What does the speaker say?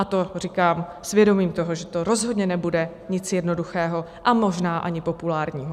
A to říkám s vědomím toho, že to rozhodně nebude nic jednoduchého a možná ani populárního.